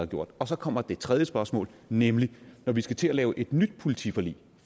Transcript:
gjort så kommer det tredje spørgsmål nemlig når vi skal til at lave et nyt politiforlig